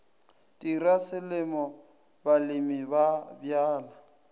tirwa selemo balemi ba bjala